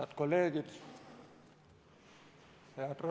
Head kolleegid!